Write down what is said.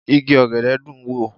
Igi ọ̀gẹ̀dẹ̀ dùn ń wò